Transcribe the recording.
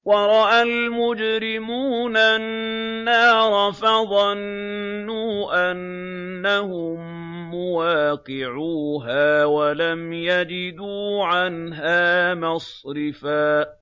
وَرَأَى الْمُجْرِمُونَ النَّارَ فَظَنُّوا أَنَّهُم مُّوَاقِعُوهَا وَلَمْ يَجِدُوا عَنْهَا مَصْرِفًا